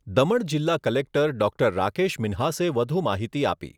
દમણ જિલ્લા collector doctor Rakesh મિન્હાસે વધુ માહિતી આપી